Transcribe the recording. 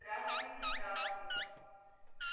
здравствуйте здравствуйте